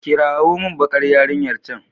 kirawo min bakar yarinyar can